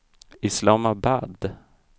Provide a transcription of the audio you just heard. Islamabad